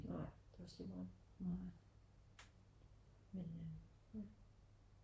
Nej det er også ligemeget men øh ja